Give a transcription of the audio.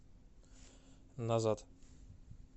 назад